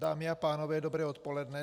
Dámy a pánové, dobré odpoledne.